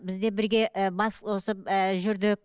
бізде бірге ііі бас қосып ііі жүрдік